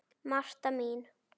Marta mín.